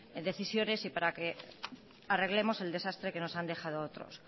decisiones y para que arreglemos el desastre que nos han dejado otros